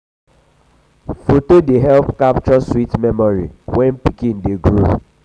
foto dey help capture sweet memory when um pikin dey grow. um